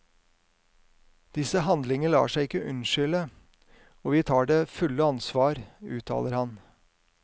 Disse handlinger lar seg ikke unnskylde, og vi tar det fulle ansvar, uttaler han.